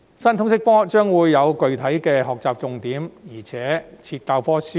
新通識科將會有具體的學習重點，而且設有教科書。